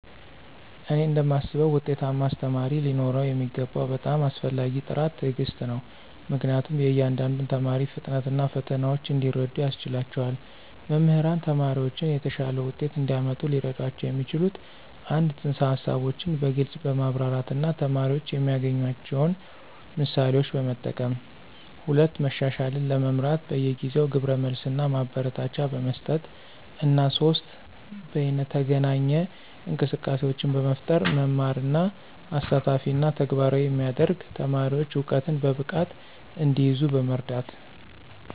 እኔ እንደማስበው ውጤታማ አስተማሪ ሊኖረው የሚገባው በጣም አስፈላጊው ጥራት ትዕግስት ነው, ምክንያቱም የእያንዳንዱን ተማሪ ፍጥነት እና ፈተናዎች እንዲረዱ ያስችላቸዋል. መምህራን ተማሪዎችን የተሻለ ውጤት እንዲያመጡ ሊረዷቸው የሚችሉት - 1) ፅንሰ-ሀሳቦችን በግልፅ በማብራራት እና ተማሪዎች የሚያገናኟቸውን ምሳሌዎችን በመጠቀም፣ 2) መሻሻልን ለመምራት በየጊዜው ግብረ መልስ እና ማበረታቻ በመስጠት፣ እና 3) በይነተገናኝ እንቅስቃሴዎችን በመፍጠር መማርን አሳታፊ እና ተግባራዊ የሚያደርግ፣ ተማሪዎች እውቀትን በብቃት እንዲይዙ በመርዳት።